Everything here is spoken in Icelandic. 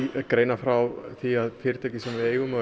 greina frá því að fyrirtæki sem við eigum og